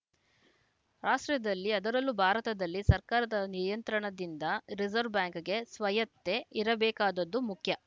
ರಾಷ್ಟ್ರದಲ್ಲಿ ಅದರಲ್ಲೂ ಭಾರತದಲ್ಲಿ ಸರ್ಕಾರದ ನಿಯಂತ್ರಣದಿಂದ ರೆಸೆರ್ವ್ ಬ್ಯಾಂಕ್‌ಗೆ ಸ್ವಾಯತ್ತೆ ಇರಬೇಕಾದುದು ಮುಖ್ಯ